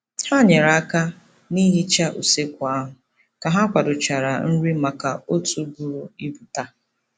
Ha nyere aka n'ihicha usekwu ahụ ka ha kwadochara nri maka otu buru ibu taa.